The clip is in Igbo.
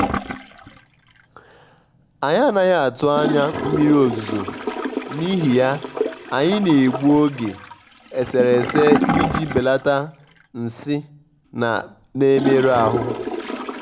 anyị́ ànaghị́ atụ́ ányá mmiri ozùzò n'íhì yá anyị́ na-ègbù ogè èsèrésè iji bèlàtá nsị́ nà-èmérụ́ áhụ́.